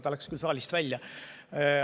Ta läks küll saalist välja.